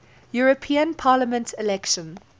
european parliament election